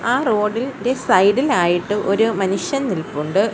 ആ റോഡ് ഇൻ്റെ സൈഡ് ഇൽ ആയിട്ട് ഒരു മനുഷ്യൻ നിൽപ്പുണ്ട്.